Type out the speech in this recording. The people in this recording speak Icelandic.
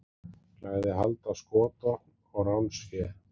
Lagði hald á skotvopn og ránsfé